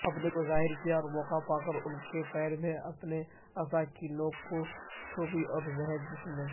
اپنے کوظاہرکیا اورموقع پاکر ان کے پیرمیں اپنے عصاکی نوک چبھودی زہرجسم میں